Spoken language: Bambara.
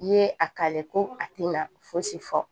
N'i ye a kale ko a tɛna fosi fɔ